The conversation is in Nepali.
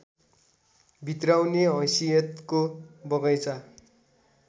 भित्र्याउने हैसियतको बगैँचा